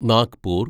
Nagpur